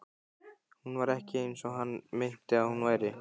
Hún var ekki eins og hann minnti að hún væri.